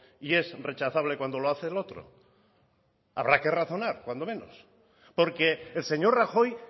y es rechazable cuando lo hace el otro habrá que razonar cuando menos porque el señor rajoy